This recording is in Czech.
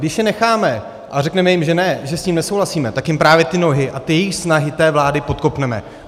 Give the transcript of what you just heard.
Když je necháme a řekneme jim, že ne, že s tím nesouhlasíme, tak jim právě ty nohy a ty jejich snahy té vlády podkopneme.